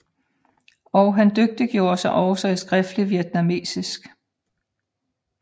Og han dygtiggjorde sig også i skriftligt vietnamesisk